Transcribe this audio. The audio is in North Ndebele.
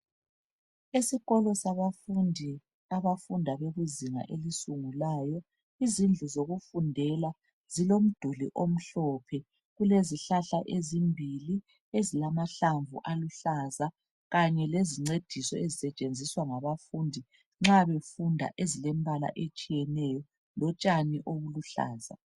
Esikolo sabafundi abafunda abafunda bekuzinga elisungulayo izindlu zokufundela zilomduli omhlophe. Kulezihlahla ezimbili ezilamahlamvu aluhlaza kanye lezincediso ezisetshenziswa ngabafundi nxa befunda ezilembala etshiyeneyo lotshani obuluhlaza.